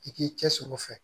I k'i cɛ siri o fɛ